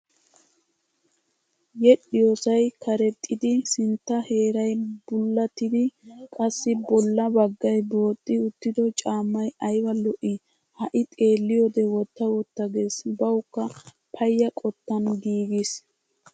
Yedhdhiyoosay karexxiddi sintta heeray bullattidi qassi bolla baggay booxxi uttido caammay ayba lo'ii. Ha'i xeelliyoode wotta wotta gees bawukka payya qottan giigiis.